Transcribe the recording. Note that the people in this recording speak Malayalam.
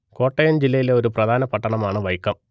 കോട്ടയം ജില്ലയിലെ ഒരു പ്രധാന പട്ടണം ആണ് വൈക്കം